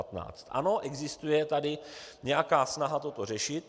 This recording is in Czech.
Ano, existuje tady nějaká snaha toto řešit.